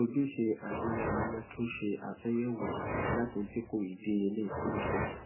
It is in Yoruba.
ojúse agbewọle yẹ kí o ṣe àtúnyẹwò láti dínkù idiyelé iṣelọpọ